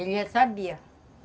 Ele já sabia.